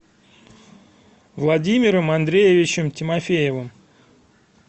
владимиром андреевичем тимофеевым